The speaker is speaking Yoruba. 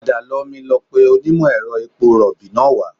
Padà lọ mi lọ pe onímọ̀-ẹ̀rọ epo rọ̀bì náà wá